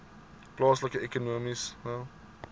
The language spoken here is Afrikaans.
plaaslike ekonomiese